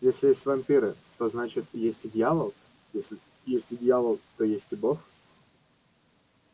если есть вампиры то значит есть и дьявол если есть и дьявол то есть и бог